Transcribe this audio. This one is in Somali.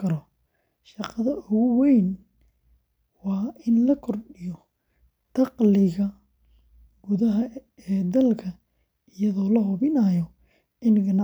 galo safarka iyo sugitaanka adeegyada bangiyada dhaqameed. Sidoo kale, barnaamijkani wuxuu bixiyaa adeegyo iskiis.